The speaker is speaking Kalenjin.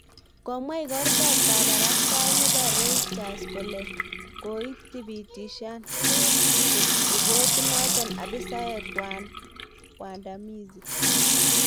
Komwa igortab kabarastael nebo Reuters kole koitibitisyan ribotiit noto abisayek waandamizi